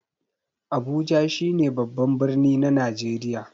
Abuja shi ne babban birni na Najeriya.